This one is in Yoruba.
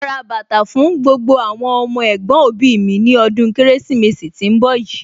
Màá rà bàtà fún gbogbo àwọn ọmọ ẹ̀gbọ̀n òbí mi ní ọdún Kérésìmesì tí ń bọ̀ yìí